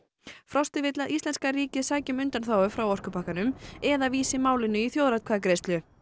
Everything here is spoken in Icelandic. frosti vill að íslenska ríkið sæki um undanþágu frá orkupakkanum eða vísa málinu í þjóðaratkvæðagreiðslu